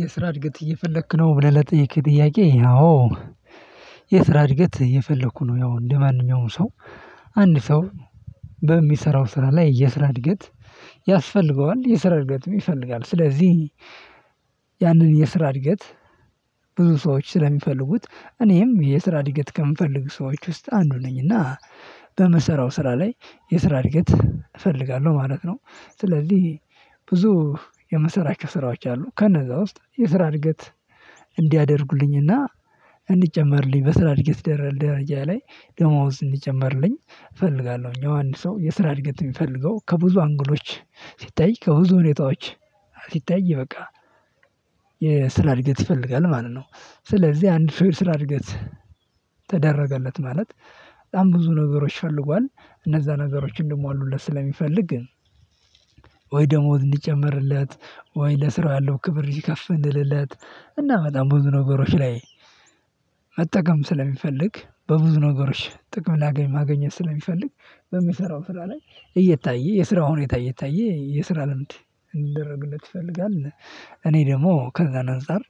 የስራ እድገት እየፈለክ ነው ብለህ ለጠየከኝ ጥያቄ? የስራ እድገት እየፈለኩ ነው ያው እንደማንኛውም ሰው አንድ ሰው በሚሰራው ስራ ላይ የስራ እድገት ያስፈልገዋል። የስራ እድገትም ይፈልጋል ስለዚህ ያንን የስራ እድገት ብዙ ሰዎች ስለሚፈልጉት እኔም የስራ እድገት ከሚፈልጉ ሰዎች ውስጥ አንዱ ነኝና በምሰራው ስራ ላይ የስራ እድገት እፈልጋለሁ ማለት ነው። ስለዚህ ብዙ የምሰራቸው ስራዎች አሉ ከነዛ ውስጥ የስራ እድገት እንዲያደርጉልኝና እንዲጨመርልኝ በስራ እድገት ደረጃ ላይ ደሞዝ እንዲጨመርልኝ እፈልጋለሁኝ። ያው አንድ ሰው የስራ እድገት እሚፈልገው ከብዙ አንግሎች ሲታይ ከብዙ ሁኔታዎች ሲታይ በቃ የስራ እድገት ይፈልጋል ማለት ነው። ስለዚህ አንድ ስራ እድገት ተደረገለት ማለት በጣም ብዙ ነገሮች ፈልጓል እነዛ ነገሮችን እንድሞሉለት ስለሚፈልግ ግን ወይ ደሞዝ እንዲጨመርለት ወይ ለስራው ያለው ክብር ከፍ እንዲልለት እና በጣም ብዙ ነገሮች ላይ መጠቀም ስለሚፈልግ በብዙ ነገሮች ጥቅም ማግኘት ስለሚፈልግ በሚሰራው ስራ ላይ እየታየ የስራው ሁኔታ እየታየ የስራ ልምድ እንዲደረግለት ይፈልጋል። እኔ ደግሞ ከዛ አንፃር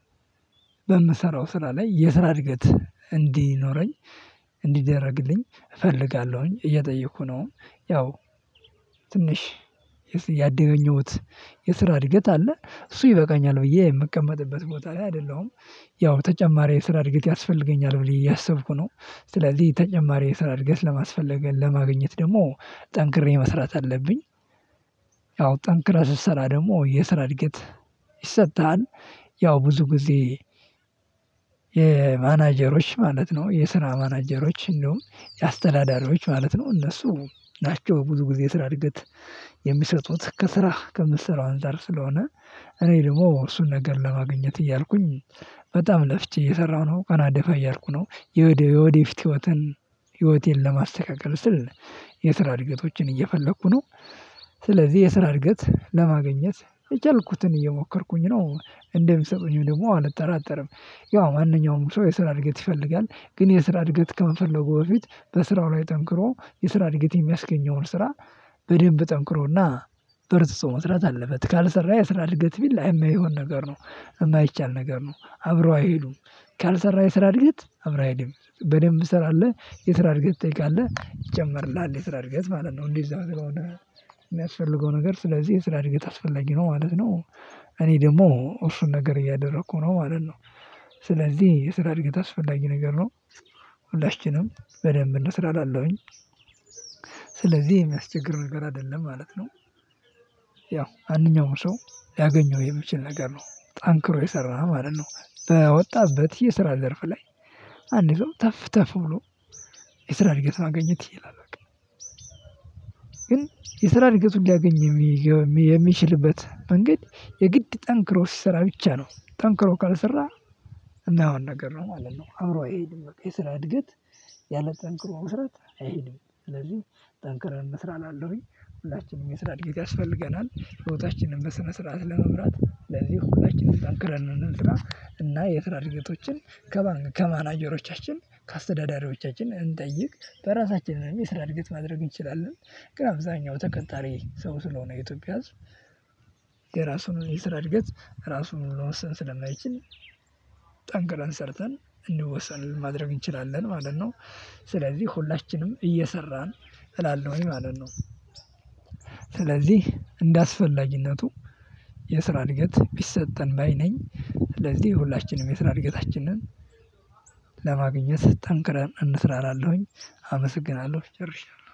በምሰራው ስራ ላይ የስራ እድገት እንዲኖረኝ እንዲደረግልኝ እፈልጋለሁኝ እየጠየኩ ነው። ያው ትንሽ ያገኘሁት የስራ እድገት አለ እሱ ይበቃኛል ብዬ የምቀመጥበት ቦታ ላይ አይደለሁም። ያው ተጨማሪ የስራ እድገት ያስፈልገኛል ብዬ እያሰብኩ ነው ስለዚህ ተጨማሪ የስራ እድገት ለማስፈለግ ለማግኘት ደግሞ ጠንክሬ መስራት አለብኝ። ያው ጠንክረህ ስትሰራ ደግሞ የስራ እድገት ይሰጥሃል። ያው ብዙ ጊዜ የማናጀሮች ማለት ነው የስራ ማናጀሮች እንደውም የአስተዳዳሪዎች ማለት ነው እነሱ ናቸው ብዙ ጊዜ የስራ እድገት የሚሰጡት ከስራ ከምትሰራው አንፃር ስለሆነ። እኔ ደግሞ እሱን ነገር ለማግኘት እያልኩኝ በጣም ለፍቼ እየሰራሁ ነው ቀና ደፋ እያልኩ ነው የወዴየውደፊት ህይወትን ህይወቴን ለማስተካከል ስል የስራ እድገቶችን እየፈለኩ ነው። ስለዚህ የስራ እድገት ለማግኘት የቻልኩትን እየሞከርኩኝ ነው እንደሚሰጡኝም ደግሞ አልጠራጠርም። ያው ማንኛውም ሰው የስራ እድገት ይፈልጋል ግን የስራ እድገት ከመፈለጉ በፊት በስራው ላይ ጠንክሮ የስራ እድገት የሚያስገኘውን ስራ በደንብ ጠንክሮና በርትቶ መስራት አለበት ካልሰራ የስራ እድገት ቢል የማይሆን ነገር ነው። የማይቻል ነገር ነው አብረው አይሄዱም። ካልሰራ የስራ እድገት አብረው አይሄድም። በደንብ ስራ አለ የስራ እድገት ትጠይቃለህ ይጨመርልሃል የስራ እድገት ማለት ነው እንዴ እዛው የሚያስፈልገው ነገር ስለዚህ የስራ እድገት አስፈላጊ ነው ማለት ነው። እኔ ደግሞ እሱን ነገር እያደረኩ ነው ማለት ነው። ስለዚህ የስራ እድገት አስፈላጊ ነገር ነው። ሁላችንም በደንብ እንስራ እላለሁኝ ስለዚህ የሚያስቸግር ነገር አይደለም ማለት ነው። ያው ማንኛውም ሰው ሊያገኘው የሚችል ነገር ነው ጠንክሮ የሰራ ማለት ነው በወጣበት የስራ ዘርፍ ላይ አንድ ሰው ተፍ ተፍ ብሎ የስራ እድገት ማግኘት ይችላል። ግን የስራ እድገቱን ሊያገኝ የሚችልበት መንገድ የግድ ጠንክሮ ሲሰራ ብቻ ነው ጠንክሮ ካልሰራ እና የማይሆን ነገር ነው ማለት ነው። አብሮ አይሄድም የስራ እድገት ያለ ጠንክሮ መሰራት አይሄድም። ስለዚህ ጠንክረን እንስራ እላለሁኝ ሁላችንም የስራ እድገት ያስፈልገናል ህይወታችንን በስነ ስርዓት ለመምራት ለዚህ ሁላችንም ጠንክረን እንስራ እና የስራ እድገቶችን ከማንክ ከማናጀሮቻችን ከአስተዳዳሪዎቻችን እንጠይቅ። በራሳችን ላይ የስራ እድገት ማድረግ እንችላለን። ግን አብዛኛው ተቀጣሪ ሰው ስለሆነ የኢትዮጵያ ያው ብዙ ጊዜ የማናጀሮች ማለት ነው የስራ ማናጀሮች እንዲያውም የአስተዳዳሪዎች ማለት ነው እነሱ ናቸው ብዙ ጊዜ የስራ እድገት እሚሰጡት ከስራ ከምትሰራው አንፃር ስለሆነ እኔ ደግሞ እሱን ነገር ለማግኘት እያልኩኝ በጣም ለፍቼ እየሰራሁ ነው። ቀና ደፋ እያልኩ ነው የወደፊት ህይወቴን ለማስተካከል ስል የስራ እድገቶችን እየፈለኩ ነው። ስለዚህ እንደ አስፈላጊነቱ የስራ እድገት ቢሰጠን ባይ ነኝ ስለዚህ ሁላችንም የስራ እድገታችንን ለማግኘት ጠንክረን እንስራ እላለሁኝ። አመሰግናለሁ ጨርሻለሁ።